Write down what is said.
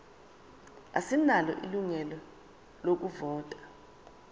asinalo ilungelo lokuvota